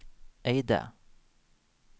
Eide